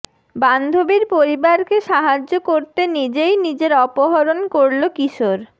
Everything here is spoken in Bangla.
বান্ধবীর পরিবারকে সাহায্য করতে নিজেই নিজের অপহরণ করল কিশোর